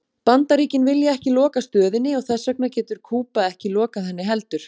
Bandaríkin vilja ekki loka stöðinni og þess vegna getur Kúba ekki lokað henni heldur.